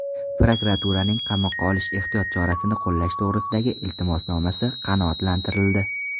Prokuraturaning qamoqqa olish ehtiyot chorasini qo‘llash to‘g‘risidagi iltimosnomasi qanoatlantirildi.